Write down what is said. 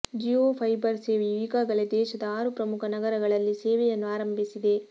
Jio fiber ಸೇವೆಯೂ ಈಗಾಗಲೇ ದೇಶದ ಆರು ಪ್ರಮುಖ ನಗರಗಳಲ್ಲಿ ಸೇವೆಯನ್ನು ಆರಂಭಿಸಿದೆ